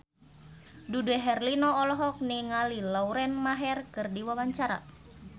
Dude Herlino olohok ningali Lauren Maher keur diwawancara